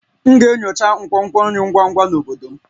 M ga-enyocha nkwonkwo nri ngwa ngwa na obodo m